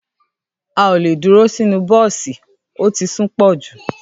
À òlẹ dúrò sinu bọ̀sí òtí súnpọ jú